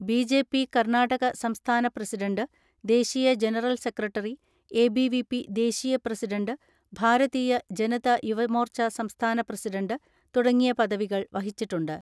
BJP Karnataka സംസ്ഥാന president, ദേശീയ general secretary, ABVP ദേശീയ പ്രസിഡന്റ്, ഭാരതീയ ജനതയുവമോർച്ച സംസ്ഥാന പ്രസിഡന്റ് തുട ങ്ങിയ പദവികൾ വഹിച്ചിട്ടുണ്ട്.